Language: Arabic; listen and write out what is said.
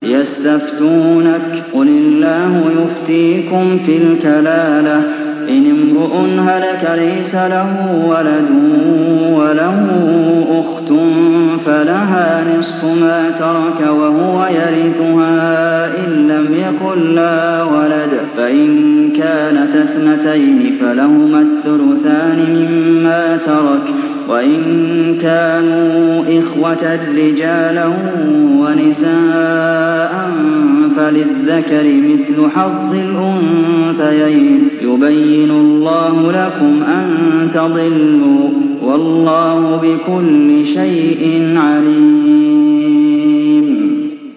يَسْتَفْتُونَكَ قُلِ اللَّهُ يُفْتِيكُمْ فِي الْكَلَالَةِ ۚ إِنِ امْرُؤٌ هَلَكَ لَيْسَ لَهُ وَلَدٌ وَلَهُ أُخْتٌ فَلَهَا نِصْفُ مَا تَرَكَ ۚ وَهُوَ يَرِثُهَا إِن لَّمْ يَكُن لَّهَا وَلَدٌ ۚ فَإِن كَانَتَا اثْنَتَيْنِ فَلَهُمَا الثُّلُثَانِ مِمَّا تَرَكَ ۚ وَإِن كَانُوا إِخْوَةً رِّجَالًا وَنِسَاءً فَلِلذَّكَرِ مِثْلُ حَظِّ الْأُنثَيَيْنِ ۗ يُبَيِّنُ اللَّهُ لَكُمْ أَن تَضِلُّوا ۗ وَاللَّهُ بِكُلِّ شَيْءٍ عَلِيمٌ